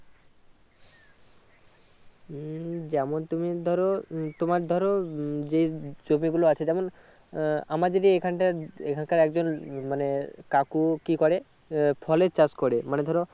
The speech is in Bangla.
উম যেমন তুমি ধরো তোমার ধরো উম যে জমি গুলাও আছে যেমন আহ আমার যদি এখানকার এখন কার একজন মানে কাকু কি করে আহ ফলের চাষ করে মনে ধরো